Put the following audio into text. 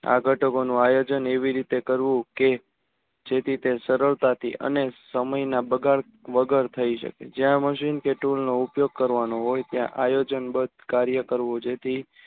આ ધટકો નું આયોજન એવી રીતે કરવું કે જેથી તે સરળતાથી અને સમય ના બગાડ વગર થઇ શકે